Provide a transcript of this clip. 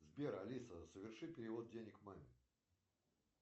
сбер алиса соверши перевод денег маме